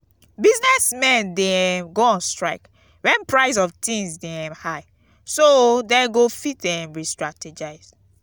business men de um go on strike when price of things de um high so dem go fit um restrategize